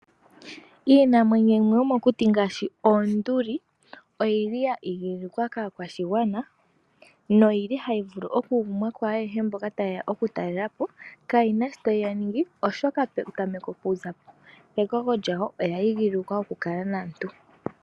Iinamwenyo yimwe yomokuti ngaashi oonduli oyili ya igililikwa kaakwashigwana na oyili hayivulu okugumwa kwaayehe mboka tayeya okutalela po kayina sho tayiya ningi oshoka petameko okuza pekoko yadho oya igililikwa okukala naantu.